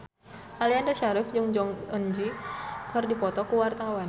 Aliando Syarif jeung Jong Eun Ji keur dipoto ku wartawan